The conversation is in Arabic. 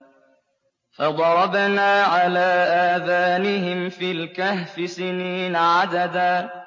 فَضَرَبْنَا عَلَىٰ آذَانِهِمْ فِي الْكَهْفِ سِنِينَ عَدَدًا